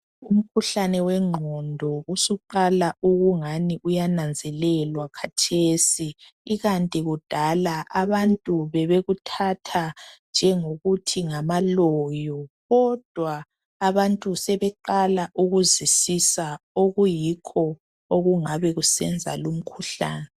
Umkhuhlane wegqondo usuqala ukungani uyananzelelwa khatesi ikantu kudala abantu bebekuthatha njengokuthi ngamaloyo. Kodwa abantu sebeqala ukuzwisisa okuyikho okungabe kusenza lo umkhuhlane.